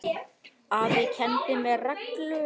Afi kenndi mér reglu.